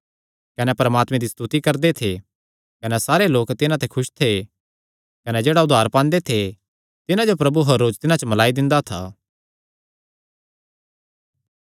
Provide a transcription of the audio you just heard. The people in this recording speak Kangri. कने परमात्मे दी स्तुति करदे थे कने सारे लोक तिन्हां ते खुस थे कने जेह्ड़ा उद्धार पांदे थे तिन्हां जो प्रभु हर रोज तिन्हां च मिल्लाई दिंदा था